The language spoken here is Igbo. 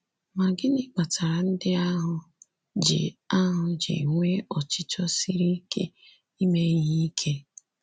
Ma gịnị kpatara ndị ahụ ji ahụ ji nwee ọchịchọ siri ike ime ihe ike?